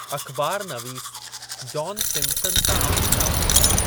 अख़बार नवीस John Simpson सां आम्हूं साम्हूं थिया ।